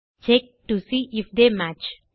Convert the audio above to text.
check to see if they match